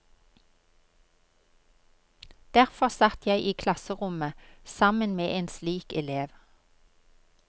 Derfor satt jeg i klasserommet sammen med en slik elev.